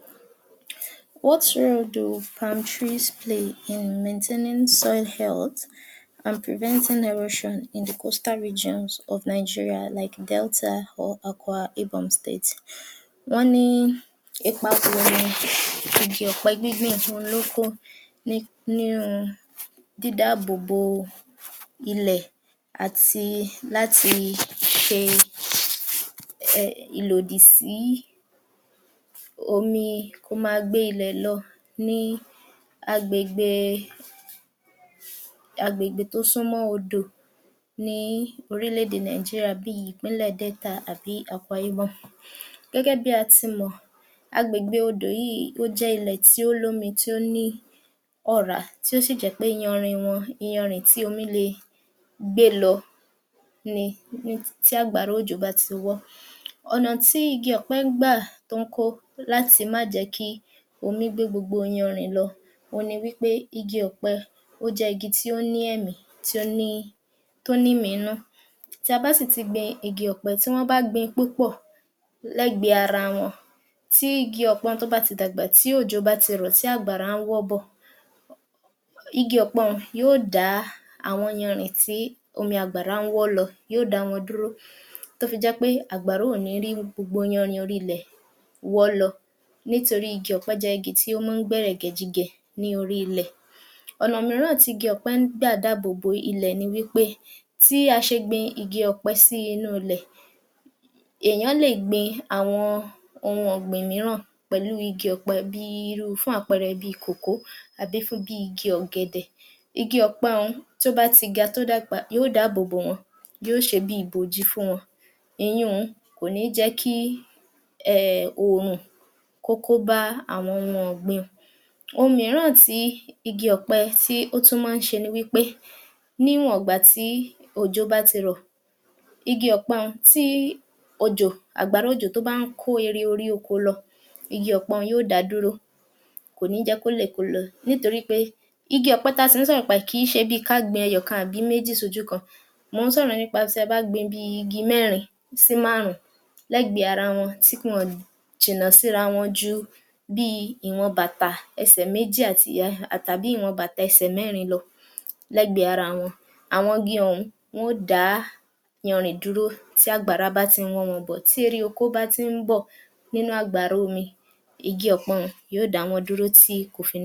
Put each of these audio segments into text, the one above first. Ipa tí í, ipa ẹ̀kọ́ nínú ú dídènà àwọn ìpèníjà àwùjọ wá àti ètò ọrọ̀ ajé fún àwọn ọ̀dọ́ ní ìpínlẹ̀ aláwọ̀ – dúdú. Ẹ̀kọ́ ṣe pàtàkì nínú dídènà àwùjọ wá torí pé ní ti èèyàn bá ní ẹ̀kọ́ tó pé yẹ, ètò ọrọ̀ ajé wa yóò máa lọ síwájú, a gbudọ̀ ṣe àwọn, a gbudọ̀ ri dájú pé ní àwọn ọ̀dọ́, wọ́n dara pò mọ́ iṣ… ká máa kọ wọn ní iṣẹ́ bíi iṣẹ́ owó, wọn gbudọ̀ gba ẹ̀kọ́ tó ń bá kọ iṣẹ́ ọwọ́ yii tán, wọn gbudọ̀ gba ẹ̀kọ́ tí wọn yóò ò fi ṣòwò, tí wọn yóò ó fi jèrè. A tún gbudọ̀ dé àìníṣé kù láwùjọ wa lá tara pé a kọ́mo níṣẹ́ yìí, kò ní sí pé ọmọ ń rìn káàkiri, kò rí iṣẹ́ ṣe. Àwọn ẹ̀kọ́ yìí, ó ṣe pàtàkì fún àwọn ọ̀dọ́ láti fi ríbi gidi…. Tó jẹ́ wí pé àwọn náà yóò máa rí owó mú lọ sí ẹnu. Ìṣàkóso àti ìdarí ìjọba tí ará ìlú, àwọn adarí wá, wọn gbudọ̀ ṣe, àwọn lalákòóso wá, àwọn sì tún ní asíwájú wa, wọn gbudọ̀ rí wí pé ní orílẹ̀ èdè ń lọ bó ṣe yẹ kó máa lọ, láláì sí wàhálà àti ìdààmú ṣùgbọ́n àwọn adarí wá, adarí burúkú ni wọn, jẹ- gúdú-jẹrá, ìmọ̀tara-ẹni-nìkan ó pò fún wọn. Òhun ni orílẹ̀ èdè wa o fi ti lọ ṣíwájú bó ṣe yẹ kó lọ síwájú dáadáa. Mọ tún wà rí wípé láti yóò àìní kúrò nínú áwùjọ wá, a gbudọ̀ ni ẹ̀kọ́ tó ìjìnlẹ̀, ìmọ̀ ìwé ó ṣe kókó torí ìmọ̀ ìwé yìí, ohun ni yóò jẹ ki ọjọ́ ọ̀la wa ko mọ́lẹ̀ kedere. Ká bá fi lè rí ibi tí a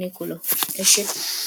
ń lọ dáadáa.